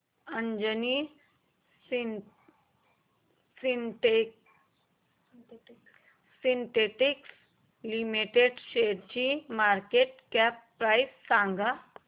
Anjani synthetics limited शेअरची market cap price सांगा